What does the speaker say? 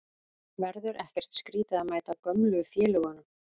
Verður ekkert skrítið að mæta gömlu félögunum?